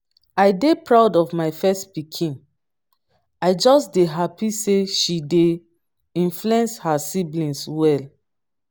i dey proud of my first pikin. i just dey happy say she dey influence her siblings well